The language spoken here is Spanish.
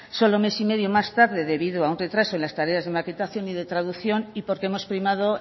solo mes y medio más tarde debido a un retraso en las tareas de maquetación y de traducción y porque hemos primado